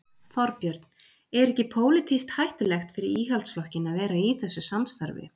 Þorbjörn: Er ekki pólitískt hættulegt fyrir Íhaldsflokkinn að vera í þessu samstarfi?